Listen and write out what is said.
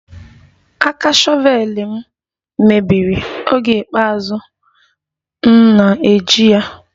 Aka shọvel m mebiri oge ikpeazụ m na-eji ya